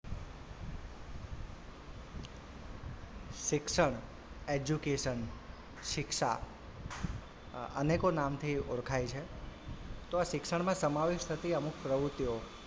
શિક્ષણ education શિક્ષા અ અનેકો નામથી ઓળખાય છે તો આ શિક્ષણમાં સમાવેશ થતી અમુક પ્રવુતિઓ,